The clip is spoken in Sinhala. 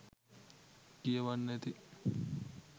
කියවන්න ඇති.